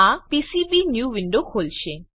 આ PCB new window ખોલશે